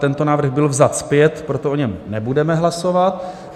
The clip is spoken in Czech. Tento návrh byl vzat zpět, proto o něm nebudeme hlasovat.